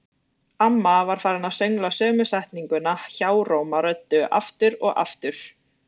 Amma var farin að söngla sömu setninguna hjáróma röddu, aftur og aftur.